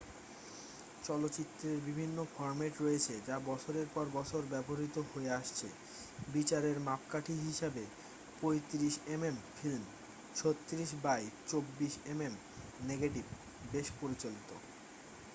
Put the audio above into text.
চলচ্চিত্রের বিভিন্ন ফর্ম্যাট রয়েছে যা বছরের পর বছর ব্যবহৃত হয়ে আসছে। বিচারের মাপকাঠি হিসাবে 35 mm film 36 by 24 mm negative বেশ প্রচলিত।